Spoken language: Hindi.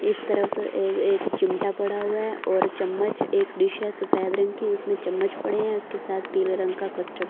इस तरफ एक चिमटा पड़ा हुआ है और चम्मच एक डिश है सफेद रंग की उसमें चम्मच पड़े हैं उसके साथ पीले रंग का कस्टर्ड --